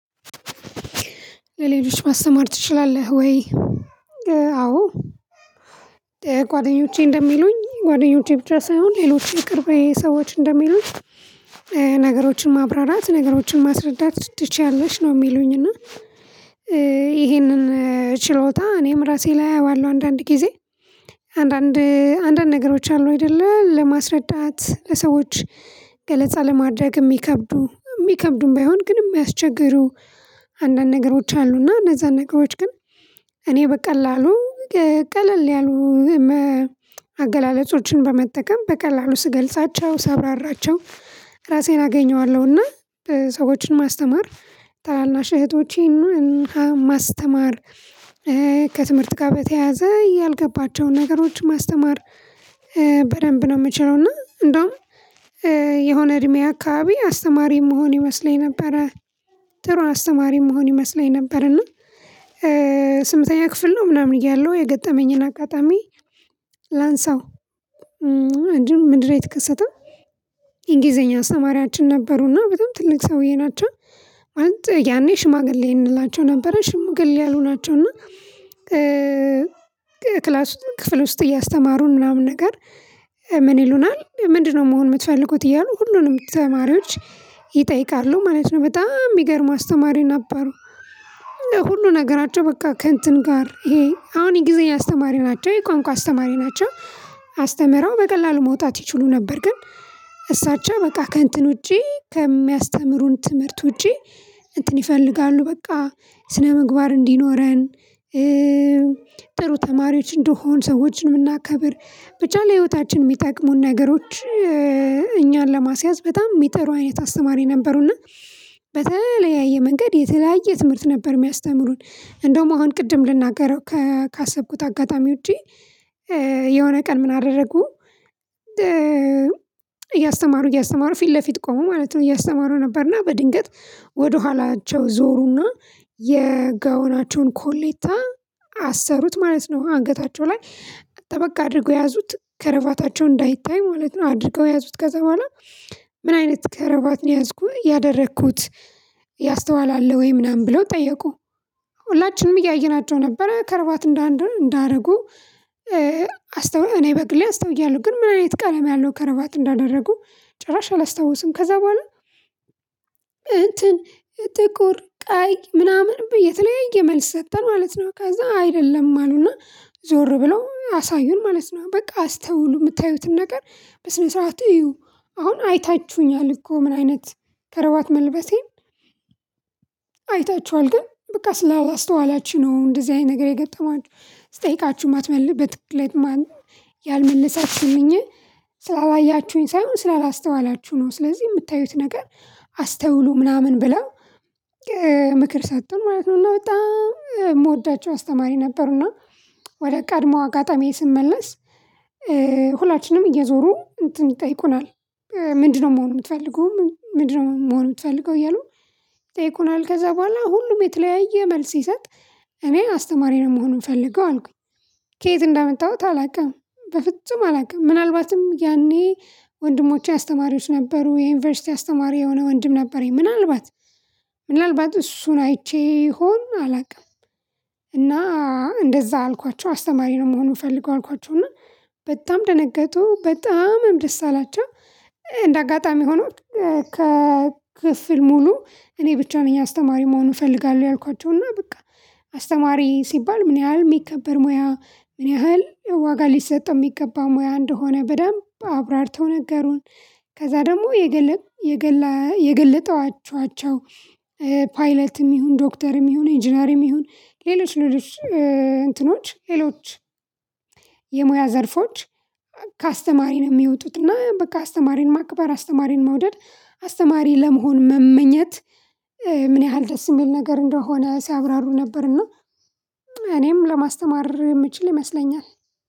ለሌሎች ማስተማር ትችላለህ ወይ? አዎ ጓደኞቼ እንደሚሉኝ ጓደኞቼ ብቻ ሳይሆን ሌሎች የቅርቤ ሰዎች እንደሚሉኝ። ነገሮችን ማብራራት ነገሮችን ማስረዳት ትችያለሽ ነው የሚሉኝ። እና ይሄንን ችሎታ እኔም ራሴ ላይ አየዋለው አንዳንድ ጊዜ። አንዳንድ አንዳንድ ነገሮች አሉ አይደለ ለማስረዳት ለሰዎች ገለጻ ለማድረግ የሚከብዱ የሚከብዱም ባይሆን ግን የሚያስቸግሩ። አንዳንድ ነገሮች አሉና እነዛን ነገሮች ግን እኔ በቀላሉ ቀለል ያሉ አገላለጾችን በመጠቀም በቀላሉ ስገልጻቸው ሳብራራቸው እራሴን አገኘዋለሁና። ሰዎችን ማስተማር ታናናሽ እህቶቼን ማስተማር ከትምህርት ጋር በተያያዘ ያልገባቸውን ነገሮች ማስተማር በደንብ ነው የምችለው። እና እንደውም የሆነ እድሜ አከባቢ አስተማሪ ምሆን ይመስለኝ ነበረ። ጥሩ አስተማሪ ምሆን ይመስለኝ ነበረና። ስምንተኛ ክፍል ነው ምናምን እያለሁ የገጠመኝን አጋጣሚ ላንሳው። እንዲሁም ምንድነው የተከሰተው? እንግሊዘኛ አስተማሪያችን ነበሩና በጣም ትልቅ ሰውዬ ናቸው። ማለት ያኔ ሽማግሌ እንላቸው ነበረ ሽምግል ያሉ ናቸው እና። ክላስ ክፍል ውስጥ እያስተማሩን ምናምን ነገር ምን ይሉናል ምንድነው መሆን የምትፈልጉት? እያሉ ሁሉንም ተማሪዎች ይጠይቃሉ ማለት ነው። በጣም የሚገርም አስተማሪ ነበሩ። ሁሉ ነገራቸው በቃ ከእንትን ጋር ይሄ አሁን የእንግሊዘኛ አስተማሪ ናቸው የቋንቋ አስተማሪ ናቸው። አስተምረው በቀላሉ መውጣት ይችሉ ነበር። ግን እሳቸው በቃ ከእንትን ውጪ ከሚያስተምሩን ትምህርት ውጪ እንትን ይፈልጋሉ በቃ ስነምግባር እንዲኖረን። ጥሩ ተማሪዎች እንደንሆን ሰዎችን የምናከብር ብቻ ለህይወታችን የሚጠቅሙን ነገሮች እኛን ለማስያዝ በጣም የሚጥሩ አይነት አስተማሪ ነበሩና። በተለያየ መንገድ የተለያየ ትምህርት ነበር የሚያስተምሩን። እንደውም አሁን ቅድም ልናገረው ካሰብኩት አጋጣሚ ውጪ። የሆነ ቀን ምን አደረጉ? እያስተማሩ እያስተማሩ ፊት ለፊት ቆሙ ማለት ነው። እያስተማሩ ነበርና በድንገት ወደኋላቸው ዞሩና የጋውናቸውን ኮሌታ አሰሩት ማለት ነው። አንገታቸው ላይ ጠበቃ አድርገው ያዙት ከረባታቸው እንዳይታይ ማለት ነው። አድርገው ያዙት ከዛ በኋላ። ምን አይነት ከረባት ነው ያደረኩት? ያስተዋለ አለ ወይ ምናምን ብለው ጠየቁ? ሁላችንም እያየናቸው ነበረ ከርባት እንዳረጉ። እኔ በግሌ አስተውያለሁ ግን ምን አይነት ቀለም ያለው ከረባት እንዳደረጉ ጭራሽ አላስታውስም። ከዛ በኋላ እንትን ጥቁር ቃይ ምናምን የተለያየ መልስ ሰጠ ማለት ነው። ከዛ አይደለም አሉና። ዞር ብለው አሳዩን ማለት ነው። በቃ አስተውሉ የምታዩትን ነገር በስነስረኣት አዩ። አሁን አይታችሁኛል እኮ ምን አይነት ከረባት መልበሴን? አይታችኋል ግን በቃ ስላላስተዋላችሁ ነው እንደዚህ አይነት ነገር የገጠማችሁ ስጠይቃችሁ ማትመልሱ በትክክል ያልመለሳችሁኝ ስላላያችሁኝ ሳይሆን ስላላስተዋላችሁ ነው። ስለዚህ የምታዩት ነገር አስተውሉ ምናምን ብለው ምክር ሰጡን ማለት ነው። እና በጣም የምወዳቸው አስተማሪ ነበሩ እና ወደ ቀድሞ አጋጣሚዬ ስመለስ። ሁላችንም እየዞሩ እንትን ይጠይቁናል። ምንድነው መሆን የምትፈልገው ምንድነው መሆን የምትፈልገው እያሉ? ይጠይቁናል ከዛ በኋላ ሁሉም የተለያየ መልስ ሲሰጥ። እኔ አስተማሪ ነው መሆን ምፈልገው አልኩኝ። ከየት እንዳመጣሁት አላውቅም በፍጹም አላውቅም። ምናልባትም ያኔ ወንድሞቼ አስተማሪዎች ነበሩ የዩኒቨርሲቲ አስተማሪ የሆነ ወንድም ነበረኝ ምናልባት ምናልባት እሱን አይቼ ይሆን አላውቅም። እና እንደዛ አልኳቸው አስተማሪ ነው መሆን ምፈልገው አልኳቸው። እና በጣም ደነገጡ በጣም ደስ አላቸው። እንደ አጋጣሚ ሆኖ ከክፍል ሙሉ እኔ ብቻ ነኝ አስተማሪ መሆን እፈልጋለሁ ያልኳቸው እና በቃ። አስተማሪ ሲባል ምን ያህል የሚከበር ሙያ ምን ያህል ዋጋ ሊሰጠው የሚገባ ሙያ እንደሆነ በደንብ አብራርተው ነገሩን። ከዛ ደግሞ የገለጧችኋቸው ፓይለትም ይሁን ዶክተርም ይሁን ኢንጂነርም ይሁን ሌሎች ሌሎች እንትኖች ሌሎች የሙያ ዘርፎች። ከአስተማሪ ነው የሚወጡት እና በቃ አስተማሪን ማክበር አስተማሪን መውደድ አስተማሪ ለመሆን መመኘት። ምን ያህል ደስ የሚል ነገር እንደሆነ ሲያብራሩ ነበርና እኔም ለማስተማር የምችል ይመስለኛል።